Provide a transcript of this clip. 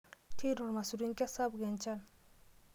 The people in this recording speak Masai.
Tuuno irmaisurin kesapuk enchan.